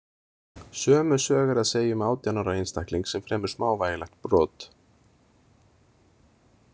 Sömu sögu er að segja um átján ára einstakling sem fremur smávægilegt brot.